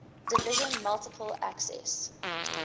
division multiple access